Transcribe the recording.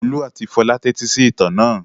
Olú àti Fọlá tẹ́tí sí ìtàn náà.